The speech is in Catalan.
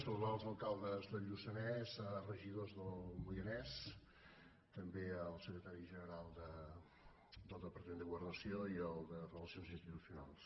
saludar els alcaldes del lluçanès regidors del moianès també el secretari general del departament de governació i el de relacions institucionals